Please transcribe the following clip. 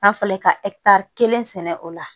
N'a fɔla ka kelen sɛnɛ o la